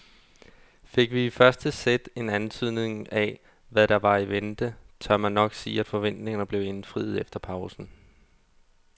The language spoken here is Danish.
Fik vi i første sæt en antydning af hvad der var i vente, tør man nok sige at forventningerne blev indfriet efter pausen.